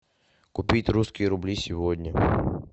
купить русские рубли сегодня